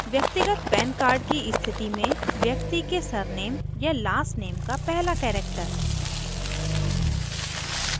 व्यक्तिगत pan card की स्थिती में व्यक्ति के सरनेम या last नेम का पहला character